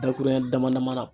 Dakuruɲɛ damadama na.